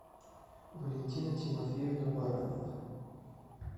валентина тимофеевна баранова